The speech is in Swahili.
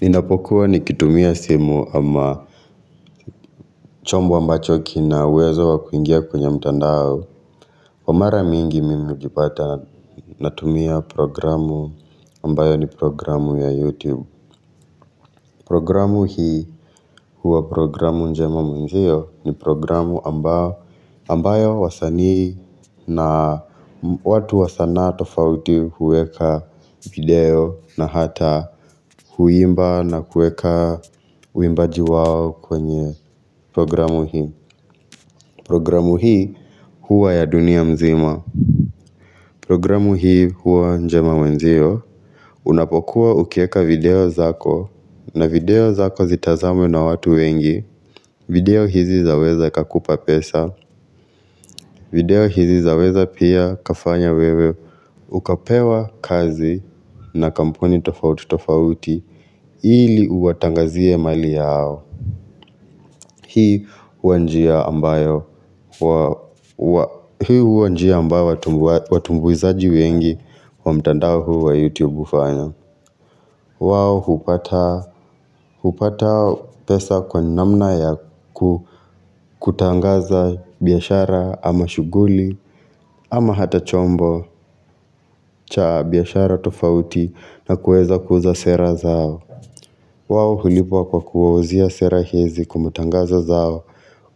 Ninapokuwa nikitumia simu ama chombo ambacho kina uwezo wa kuingia kwenye mtandao kwa mara mingi mimi hujipata natumia programu ambayo ni programu ya YouTube Programu hii huwa programu njema mwenzio ni programu ambayo ambayo wasanii na watu wa sanaa tofauti huweka video na hata huimba na huweka uimbaji wao kwenye Programu hii Programu hii huwa ya dunia mzima Programu hii huwa njema mwenzio Unapokuwa ukieka video zako na video zako zitazamwe na watu wengi video hizi zaweza kakupa pesa video hizi zaweza pia kafanya wewe Ukapewa kazi na kampuni tofauti tofauti Hili uwatangazie mali yao Hii huwa njia ambayo huo huo njia amba watumbuizaji wengi wa mtandahu wa YouTube ufanya wao hupata pesa kwa namna ya kutangaza biashara ama shuguli ama hata chombo cha biashara tofauti na kueza kuza sera zao wao hulipwa kwa kuwauzia sera hizi kwa matangazo zao